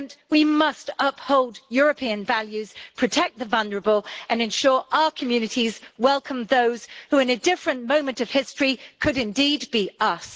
We must uphold European values, protect the vulnerable and ensure our communities welcome those who, in a different moment of history, could, indeed, be us.